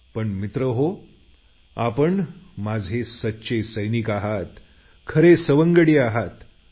पण मित्रहो आपण माझे सच्चे सैनिक सवंगडी आहात